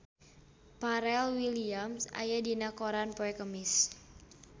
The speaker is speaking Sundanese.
Pharrell Williams aya dina koran poe Kemis